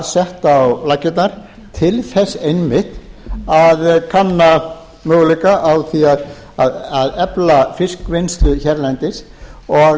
sett á laggirnar til þess einmitt að kanna möguleika á því að efla fiskvinnslu hérlendis og